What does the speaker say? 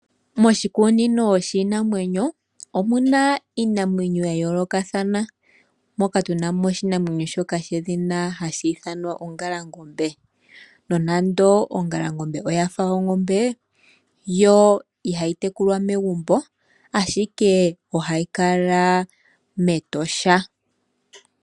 Moshikunino shiinamwenyo omuna iinamwenyo yayoolokathana. Moka tunamo oshinamwenyo shedhina ongalangombe nonando ongalangombe oyafa ongombe yo ihayi tekulwa megumbo ashike ohayi kala mEtosha.